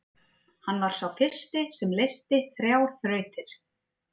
Hann var sá fyrsti sem leysti þrjár þrautir.